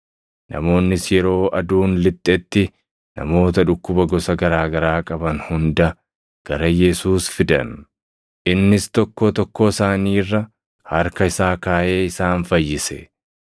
Namoonnis yeroo aduun lixxetti namoota dhukkuba gosa garaa garaa qaban hunda gara Yesuus fidan; innis tokkoo tokkoo isaanii irra harka isaa kaaʼee isaan fayyise.